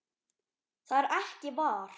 það er ekki var